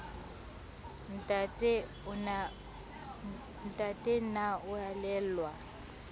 ntate na o a elellwa